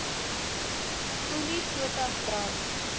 olie potas brand